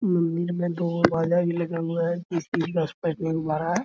मंदिर मे दो बाजा भी लगा हुआ है --